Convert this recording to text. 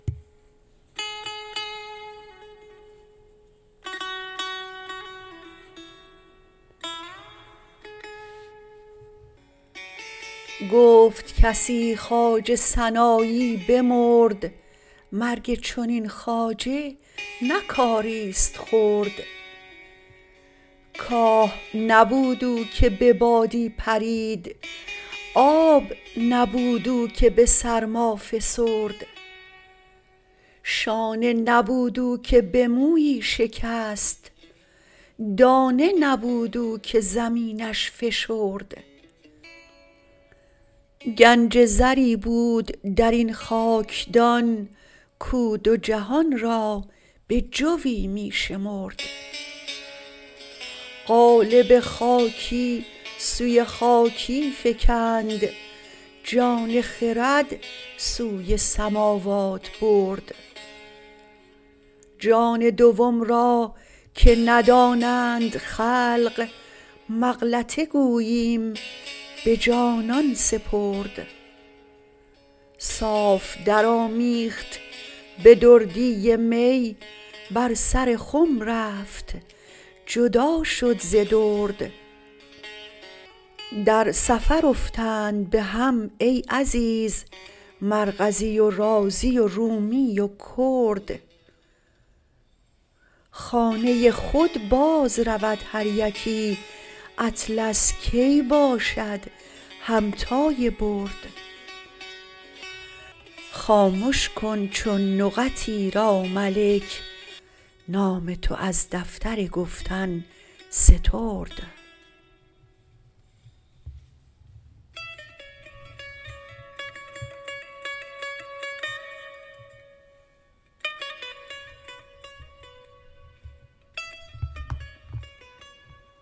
گفت کسی خواجه سنایی بمرد مرگ چنین خواجه نه کاریست خرد کاه نبود او که به بادی پرید آب نبود او که به سرما فسرد شانه نبود او که به مویی شکست دانه نبود او که زمینش فشرد گنج زری بود در این خاکدان کو دو جهان را بجوی می شمرد قالب خاکی سوی خاکی فکند جان خرد سوی سماوات برد جان دوم را که ندانند خلق مغلطه گوییم به جانان سپرد صاف درآمیخت به دردی می بر سر خم رفت جدا شد ز درد در سفر افتند به هم ای عزیز مرغزی و رازی و رومی و کرد خانه خود بازرود هر یکی اطلس کی باشد همتای برد خامش کن چون نقط ایرا ملک نام تو از دفتر گفتن سترد